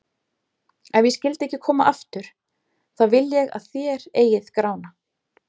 Ef ég skyldi ekki koma aftur, þá vil ég að þér eigið Grána.